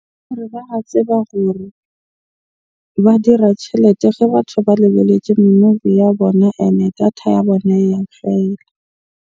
Tseba ruri. Ba dira tjhelete ge batho ba lebeletse movie ya bona, ene data ya bona ya fela.